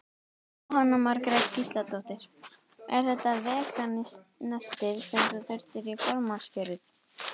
Jóhanna Margrét Gísladóttir: Er þetta veganestið sem þú þurftir í formannskjörið?